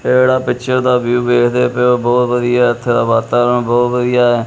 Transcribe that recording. ਜਿਹੜਾ ਪਿਛੇ ਦਾ ਵਿਊ ਵੇਖਦੇ ਪਏ ਹੋ ਬਹੁਤ ਵਦੀਆਂ ਹੈ ਇਥੇ ਵਾਤਾਵਰਨ ਬਹੁਤ ਵਦੀਆ ਹੈ।